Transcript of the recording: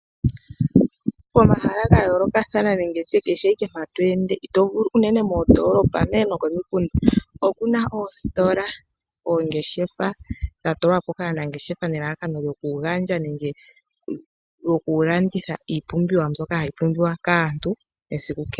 Pomahala gayoolokathana nenge tushe kehe ike mpa to ende itovulu unene mondoolopa, unene nokomikunda, oku na oositola, oongeshefa dhatulwapo kaanangeshefa nelalakano lyo ku gandja nenge lyo ku landitha iipumbiwa mbyoka ha yi pumbiwa kaantu esiku kehe.